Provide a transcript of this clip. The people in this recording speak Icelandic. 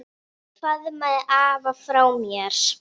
Faðmaðu afa frá mér.